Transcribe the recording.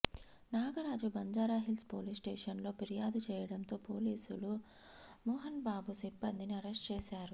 Nagaraju Banjara Hills police స్టేషన్లో ఫిర్యాదు చేయటంతో పోలీసులు మోహన్బాబు సిబ్బందిని అరెస్ట్ చేశారు